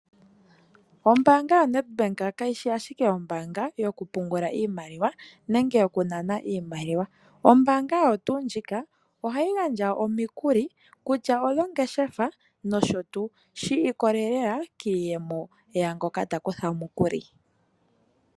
Ombaanga yo Ned Bank kayishi ashike Ombaanga yoku pungula iimaliwa nenge yoku nana iimaliwa, ombaanga oyo tuu ndjika ohayi gandja omikuli kutya oyongeshefa nosho tuu shi ikolelela kiiyemo yaangoka ta kutha omukuli.